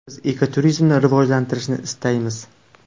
Biz ekoturizmni rivojlantirishni istaymiz.